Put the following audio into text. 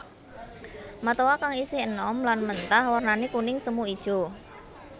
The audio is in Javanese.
Matoa kang isih enom lan mentah wernané kuning semu ijo